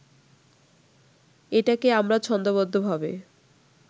এটাকে আমরা ছন্দোবদ্ধভাবে